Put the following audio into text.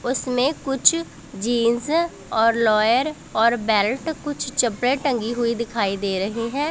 उसमें कुछ जींस और लॉयर और बेल्ट कुछ चप्पलें टंगी हुई दिखाई दे रही हैं।